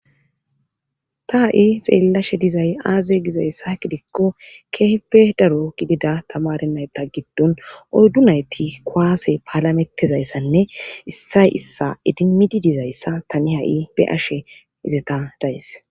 Ta ha7i xeellashe dizay aaze gizayssa ha kidikko keehipe daro gidida tamarennayta giddon ordu nayti kwaase paalametizayssanne issay issa idimidi dizayssa tani ha7i be ashe izeta dayes.